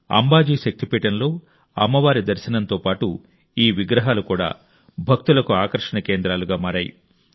అంబాజీ శక్తి పీఠంలో అమ్మవారి దర్శనంతో పాటు ఈ విగ్రహాలు కూడా భక్తులకు ఆకర్షణ కేంద్రాలుగా మారాయి